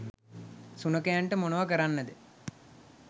සුනඛයන්ට මොනව කරන්නද